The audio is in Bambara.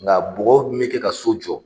Nka bɔgɔ min bɛ kɛ ka so jɔ